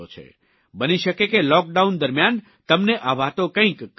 બની શકે કે લૉકડાઉન દરમ્યાન તમને આ વાતો કંઇક કામ આવી જાય